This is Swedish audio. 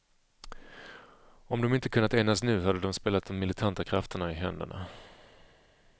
Om de inte kunnat enas nu hade de spelat de militanta krafterna i händerna.